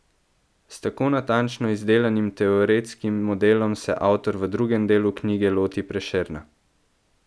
S tako natančno izdelanim teoretskim modelom se avtor v drugem delu knjige loti Prešerna.